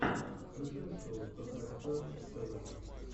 включай шоу пэкаэфэр тэвэ